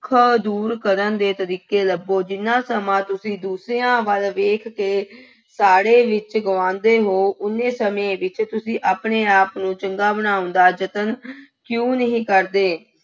ਦੁੱਖਾਂ ਦੂਰ ਕਰਨ ਦੇ ਤਰੀਕੇ ਲੱਭੋ, ਜਿੰਨਾ ਸਮਾਂ ਤੁਸੀਂ ਦੂਸਰਿਆਂ ਵੱਲ ਵੇਖ ਕੇ ਸਾੜ੍ਹੇ ਵਿੱਚ ਗੁਆਉਂਦੇ ਹੋ, ਉੱਨੇ ਸਮੇਂ ਵਿੱਚ ਤੁਸੀਂ ਆਪਣੇ ਆਪ ਨੂੰ ਚੰਗਾ ਬਣਾਉਣ ਦਾ ਯਤਨ ਕਿਉਂ ਨਹੀਂ ਕਰਦੇ।